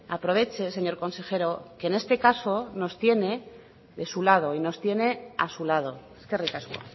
aproveche señor consejero que en este caso no tiene de su lado y nos tiene a su lado eskerrik asko